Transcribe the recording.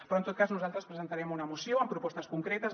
però en tot cas nosaltres presentarem una moció amb propostes concretes